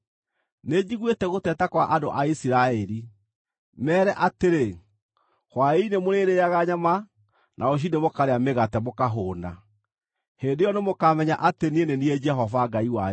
“Nĩnjiguĩte gũteta kwa andũ a Isiraeli. Meere atĩrĩ, ‘Hwaĩ-inĩ mũrĩrĩĩaga nyama na rũciinĩ mũkarĩa mĩgate mũkahũũna. Hĩndĩ ĩyo nĩmũkamenya atĩ niĩ, nĩ niĩ Jehova Ngai wanyu.’ ”